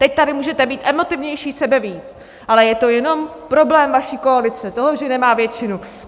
Teď tady můžete být emotivnější sebevíc, ale je to jenom problém vaší koalice, toho, že nemá většinu.